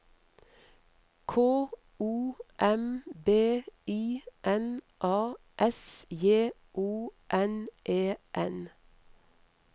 K O M B I N A S J O N E N